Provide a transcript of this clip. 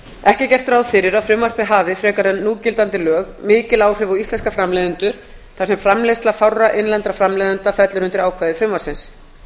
ekki er gert ráð fyrir að frumvarpið hafi frekar en núgildandi lög mikil áhrif á íslenska framleiðendur þar sem framleiðsla fárra innlendra framleiðenda fellur undir ákvæði frumvarpsins